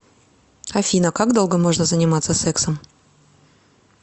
афина как долго можно заниматься сексом